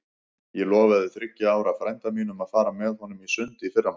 Ég lofaði þriggja ára frænda mínum að fara með honum í sund í fyrramálið.